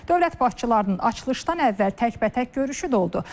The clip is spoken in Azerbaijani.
Dövlət başçılarının açılışdan əvvəl təkbətək görüşü də oldu.